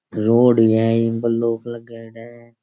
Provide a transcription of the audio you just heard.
Road है इ पर लगाएड़ा है।